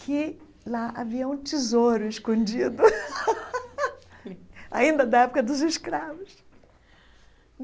que lá havia um tesouro escondido, ainda da época dos escravos.